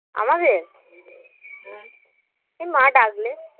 আমাদের এই মা ডাকলে